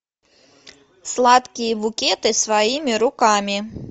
сладкие букеты своими руками